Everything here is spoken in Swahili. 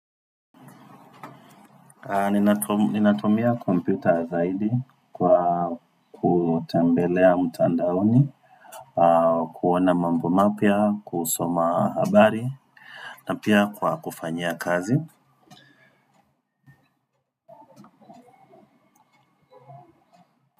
Ninatumia kompyuta zaidi kwa kutembelea mtandaoni. Kuona mambo mapya, kusoma habari na pia kwa kufanya kazi.